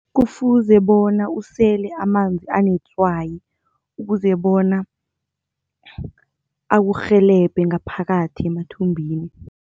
Kufuze bona usele amanzi anetswayi ukuze bona akurhelebhe ngaphakathi emathumbini.